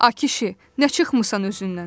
A kişi, nə çıxımsan özündən?